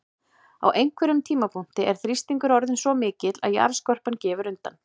Á einhverjum tímapunkti er þrýstingur orðinn svo mikill að jarðskorpan gefur undan.